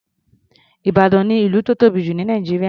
Ìbàdàn ni ìlú tó tóbi jù ní Nàìjíríà.